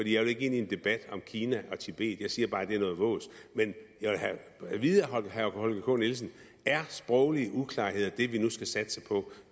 jeg vil ikke ind i en debat om kina og tibet jeg siger bare det er noget vås men jeg vil have at vide af herre holger k nielsen er sproglige uklarheder det vi nu skal satse på